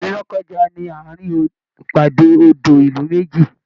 Ilú Lọ́kọ́ja ni àárin ìpàdé odo ìlú méjì.